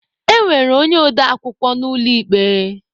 E nwere onye ode akwukwọ n'ụlọ ikpe.